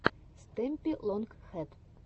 стэмпи лонг хэд